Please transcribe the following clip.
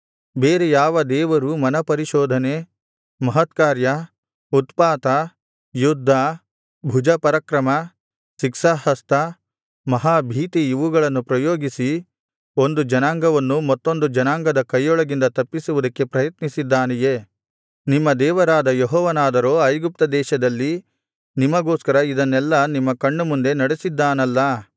ಬೇರೆ ಯಾವ ದೇವರೂ ಮನಪರಿಶೋಧನೆ ಮಹತ್ಕಾರ್ಯ ಉತ್ಪಾತ ಯುದ್ಧ ಭುಜಪರಾಕ್ರಮ ಶಿಕ್ಷಾಹಸ್ತ ಮಹಾಭೀತಿ ಇವುಗಳನ್ನು ಪ್ರಯೋಗಿಸಿ ಒಂದು ಜನಾಂಗವನ್ನು ಮತ್ತೊಂದು ಜನಾಂಗದ ಕೈಯೊಳಗಿಂದ ತಪ್ಪಿಸುವುದಕ್ಕೆ ಪ್ರಯತ್ನಿಸಿದ್ದಾನೇ ನಿಮ್ಮ ದೇವರಾದ ಯೆಹೋವನಾದರೋ ಐಗುಪ್ತದೇಶದಲ್ಲಿ ನಿಮಗೋಸ್ಕರ ಇದನ್ನೆಲ್ಲಾ ನಿಮ್ಮ ಕಣ್ಣು ಮುಂದೆ ನಡಿಸಿದ್ದಾನಲ್ಲಾ